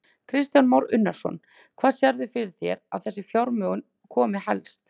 Kristján Már Unnarsson: Hvaðan sérðu fyrir þér að þessi fjármögnun komi helst?